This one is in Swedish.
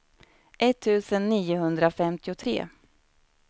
etttusen niohundrafemtiotre